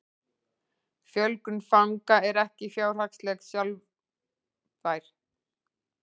Fjölgun fanga er ekki fjárhagslega sjálfbær